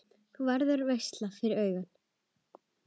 Það verður veisla fyrir augað.